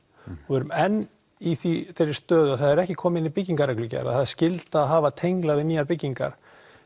við erum enn í þeirri stöðu að það er ekki komið í byggingarreglugerð að það sé skylda að hafa tengla við nýjar byggingar